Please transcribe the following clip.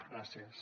gràcies